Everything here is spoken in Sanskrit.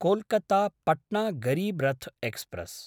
कोल्कत्ता–पट्ना गरीब् रथ् एक्स्प्रेस्